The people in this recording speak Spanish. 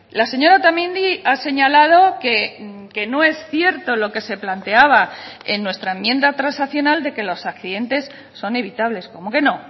la señora otamendi ha señalado que no es cierto lo que se planteaba en nuestra enmienda transaccional de que los accidentes son evitables cómo que no